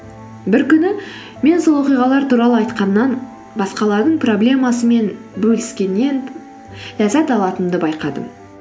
бір күні мен сол оқиғалар туралы айтқаннан басқалардың проблемасымен бөліскеннен ләззат алатынымды байқадым